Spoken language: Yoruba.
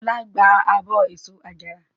Ọlá gba abọ́ èso àjàrà.